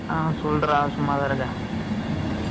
ஆ, சொல்லுடா